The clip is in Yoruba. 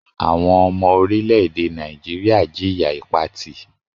Àwọn ọmọ orílẹ̀-èdè Nàìjíríà jìya Ìpatì